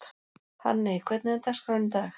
Hanney, hvernig er dagskráin í dag?